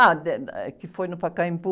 Ah, eh, que foi no Pacaembu.